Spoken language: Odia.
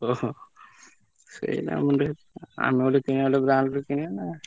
smile ଓହୋ ସେଇନା ଆମେ ଗୋଟେ କିଣିବା ଦାମୀ ଗୋଟେ କିଣିବା ନା?